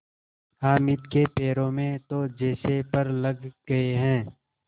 हामिद के पैरों में तो जैसे पर लग गए हैं